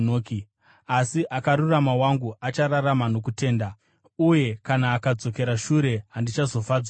Asi akarurama wangu achararama nokutenda. Uye kana akadzokera shure, handizofadzwi naye.”